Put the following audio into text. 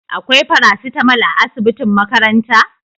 Akwai farasitamol a asibitin makaranta?